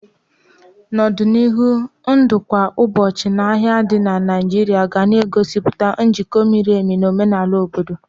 N'ọdịnihu, ndụ kwa ụbọchị na ahia di na Naijiria ga na-egosipụta njikọ miri emi na omenala obodo.